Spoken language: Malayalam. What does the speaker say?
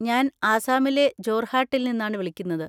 ഞാൻ ആസാമിലെ ജോർഹാട്ടിൽ നിന്നാണ് വിളിക്കുന്നത്.